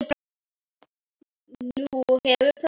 Nú hefur próf.